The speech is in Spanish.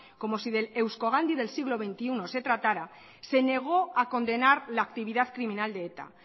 como si del euskogandhi del siglo veintiuno se tratara se negó a condenar la actividad criminal de eta